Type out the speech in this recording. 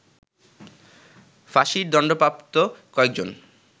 ফাঁসির দণ্ডপ্রাপ্ত কয়েকজন